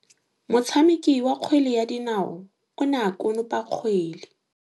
Motshameki wa kgwele ya dinaô o ne a konopa kgwele.